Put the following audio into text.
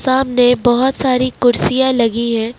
सामने बहौत सारी कुर्सियां लगी है।